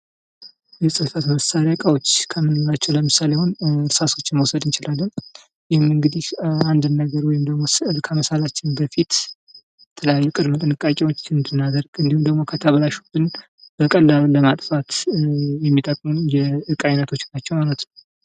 የጽፈት መሳሪያ እቃዎች ከምንላቸው ለምሳሌ አሁን እርሳሶችን መውሰድ እንችላለን። ይህም ደግሞ አንድን ነገር ወይም ደግሞ ስዕል ከመሳላችን በፊት የተለያዩ ቅድመ ጥንቃቄዎችን እንድናደርግ እንዲሁም ደግሞ ከተበላሹብን በቀላሉ ለማጥፋት የሚጠቅሙን የዕቃ ዐይነቶች ናቸው ማለት ነው።